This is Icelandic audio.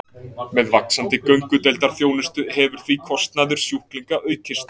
Með vaxandi göngudeildarþjónustu hefur því kostnaður sjúklinga aukist.